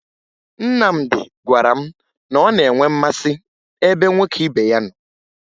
Nnamdị gwara m na ọ na-enwe mmasị ebe nwoke ibe ya nọ